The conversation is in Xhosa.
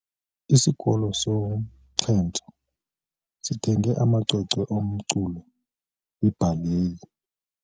Isikolo somxhentso sithenge amacwecwe omculo webhaleyi.